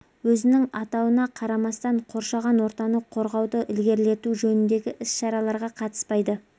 өзінің атауына қарамастан қоршаған ортаны қорғауды ілгерілету жөніндегі іс-шараларға қатыспайды